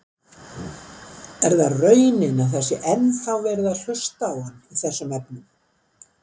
Er það raunin að það sé ennþá verið að hlusta á hann í þessum efnum?